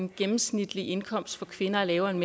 den gennemsnitlige indkomst for kvinder er lavere end